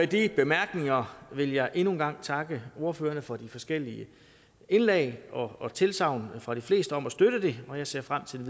de bemærkninger vil jeg endnu en gang takke ordførerne for de forskellige indlæg og tilsagnene fra de fleste om at støtte det jeg ser frem til